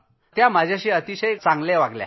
ते माझ्याशी अतिशय चांगले वागले